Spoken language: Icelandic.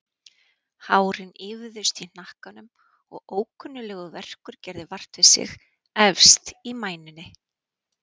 Hárin ýfðust í hnakkanum og ókunnuglegur verkur gerði vart við sig efst í mænunni.